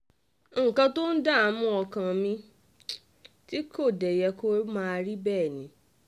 nǹkan tó ń dààmú ọkàn mi tí kò dé yẹ kó máa rí bẹ́ẹ̀ ni